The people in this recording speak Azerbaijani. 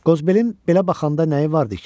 Qozbelin belə baxanda nəyi vardı ki?